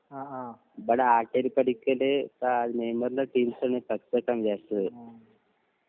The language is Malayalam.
ആഹ് ആഹ്